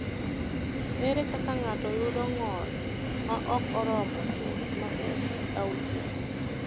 Ere kaka ng’ato yudo ng’ol ma ok oromo chuth ma en kit 6?